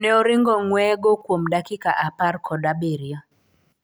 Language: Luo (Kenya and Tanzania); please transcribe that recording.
Ne oringo ng'weye go kuom dakika apar kod abirio.